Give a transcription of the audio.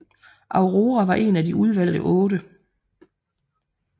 Aurora var en af De Udvalgte Otte